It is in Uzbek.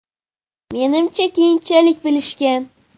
- Menimcha, keyinchalik bilishgan.